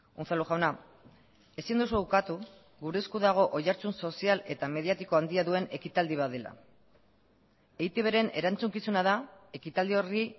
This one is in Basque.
unzalu jauna ezin duzu ukatu gure esku dago oihartzun sozial eta mediatiko handia duen ekitaldi bat dela eitbren erantzukizuna da ekitaldi horri